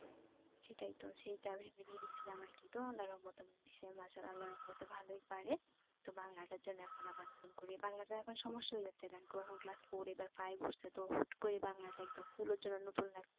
সেটাই তো সেটা ভেবে নিয়ে তো আল্লাহর রহমতে মাশাআল্লাহ আল্লাহর রহমতে ভালোই পারে তো বাংলাটার জন্য এখন আবার নতুন করে বাংলাটা এখন সমস্যা হয়ে যাচ্ছে কারণ কি ও class four এ এবার five এ উঠছে তো হুট করে বাংলাটা একদম full ওর জন্য নতুন লাগছে